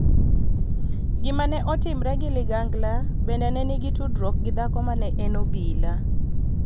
Gima ne otimre gi ligangla bende ne nigi tudruok gi dhako ma ne en obila.